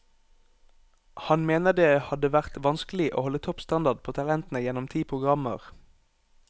Han mener det hadde vært vanskelig å holde topp standard på talentene gjennom ti programmer.